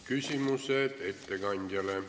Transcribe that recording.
Küsimused ettekandjale.